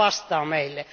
Kuka vastaa meille?